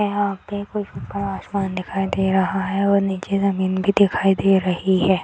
यहाँ पर ऊपर आसमान दिखाई दे रहा है और नीचे जमीन भी दिखाई दे रही है।